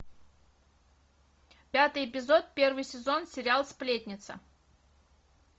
пятый эпизод первый сезон сериал сплетница